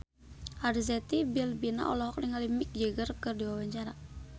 Arzetti Bilbina olohok ningali Mick Jagger keur diwawancara